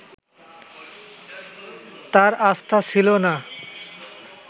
তাঁর আস্থা ছিল না